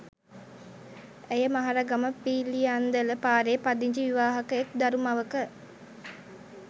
ඇය මහරගම පිළියන්දල පාරේ පදිංචි විවාහක එක් දරු මවක